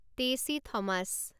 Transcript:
Tessy Thomas